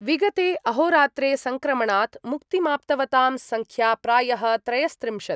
विगते अहोरात्रे सङ्क्रमणात् मुक्तिमाप्तवतां संख्या प्रायः त्रयस्त्रिंशत्